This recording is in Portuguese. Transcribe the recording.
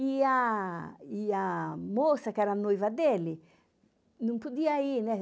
E a e a moça, que era a noiva dele, não podia ir, né?